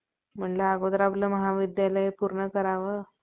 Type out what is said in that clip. म्हणलं अगोदर आपलं महाविद्यालय पूर्ण करावं